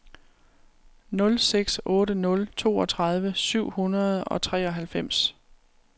nul seks otte nul toogtredive syv hundrede og treoghalvfems